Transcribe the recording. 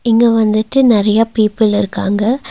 இங்க வந்துட்டு நறைய பீப்பிள் இருக்காங்க.